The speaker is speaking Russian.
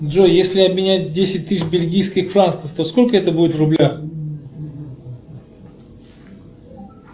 джой если обменять десять тысяч бельгийских франков то сколько это будет в рублях